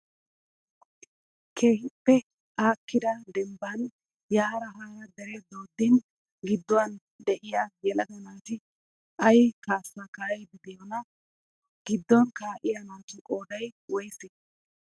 Keehippe aakkida dembban yaara haara deree dooddin gidduwan diyaaa yelaga naati ayi kaassaa kaa'iiddi diyoonaa? Giddon kaa'iyaa naatu qoodayi woyisee?